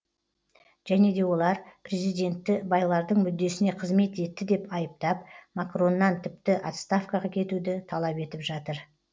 және де олар президентті байлардың мүддесіне қызмет етті деп айыптап макроннан тіпті отставкаға кетуді талап етіп жатыр